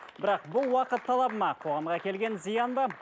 бірақ бұл уақыт талабы ма қоғамға келген зиян ба